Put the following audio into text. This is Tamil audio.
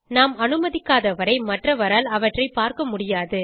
நாம் அனுமதிக்காதவரை மற்றவரால் அவற்றை பார்க்க முடியாது